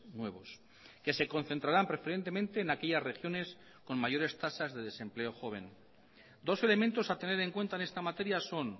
nuevos que se concentrarán preferentemente en aquellas regiones con mayores tasas de desempleo joven dos elementos a tener en cuenta en esta materia son